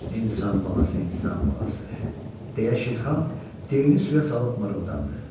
İnsan balası, insan balası, deyə Şirxan dilini suya salıb mırıldandı.